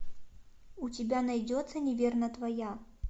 у тебя найдется неверно твоя